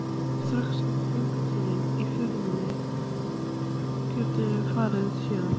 Strax eftir gönguna í fjörunni geturðu farið héðan.